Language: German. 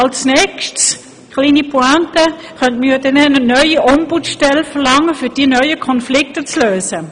Als Nächstes – eine kleine Pointe – könnte man ja eine neue Ombudsstelle verlangen, um diese neuen Konflikte zu lösen.